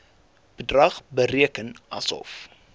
bedrag bereken asof